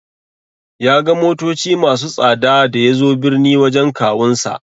Ya ga motoci masu tsada da yazo birni wajen kawunsa.